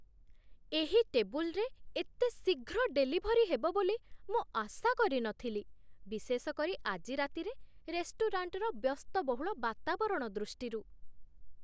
ଏହି ଟେବୁଲ୍‌ରେ ଏତେ ଶୀଘ୍ର ଡେଲିଭରି ହେବ ବୋଲି ମୁଁ ଆଶା କରିନଥିଲି, ବିଶେଷ କରି ଆଜି ରାତିରେ ରେଷ୍ଟୁରାଣ୍ଟର ବ୍ୟସ୍ତବହୁଳ ବାତାବରଣ ଦୃଷ୍ଟିରୁ।